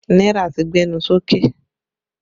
Náírà ti gbẹnu sókè